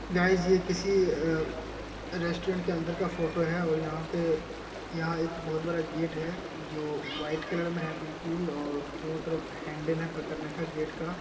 Guys यह किसी अ रेस्टोरेंट के अंदर का फोटो है और यहां पे यहां एक बहुत बड़ा गेट है जो वाइट कलर में है बिल्कुल और दोनों तरफ हैंडल है पकड़ने का गेट का।